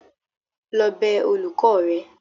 lọ bẹ olùkọ́ rẹ.!